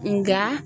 Nka